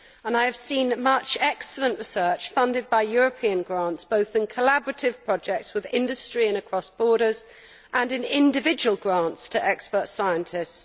I have seen much excellent research funded by European grants, both in collaborative projects with industry and across borders, and in individual grants to expert scientists.